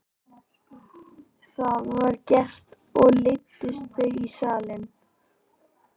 Það var gert og leiddust þau í salinn.